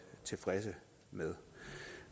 tilfredse med